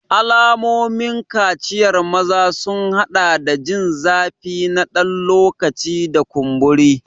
Alamomin kaciyar maza sun haɗa da jin zafi na ɗan lokaci da kumburi.